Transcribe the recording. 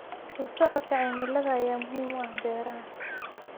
La socodka cimilada ayaa muhiim u ah beeraha.